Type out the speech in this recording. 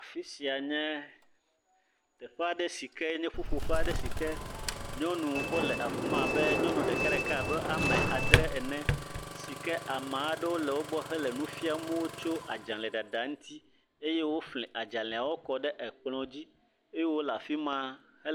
Afisia nye teƒe a ɖe si ke nye ƒuƒoƒe aɖe si nye nyɔnu wo le afima abe ame adre ene si ke Ameaɖewo le wo gbɔ le nu fia wo tso adzale ɖaɖa ŋuti eye wo fli adzale wo daɖe kplɔ dzi.